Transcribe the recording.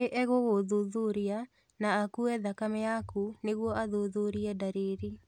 Nĩ egũgũthuthuria na akuue thakame yaku nĩguo athuthurie ndariri